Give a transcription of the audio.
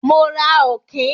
Mo ra Ọ̀kín.